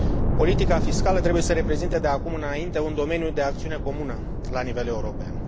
Politica fiscală trebuie să reprezinte de acum înainte un domeniu de acțiune comun la nivel european.